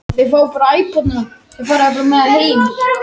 Ég myndi vilja spila eitthvað í Brasilíu, hinu sanna landi fótboltans.